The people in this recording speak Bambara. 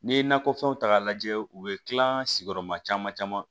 N'i ye nakɔfɛnw ta k'a lajɛ u bɛ tila sigiyɔrɔma caman caman